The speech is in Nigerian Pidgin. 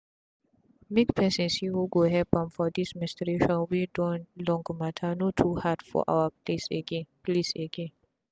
make person see who go help am for this menstruation wey don long matter no too hard for our place again. place again.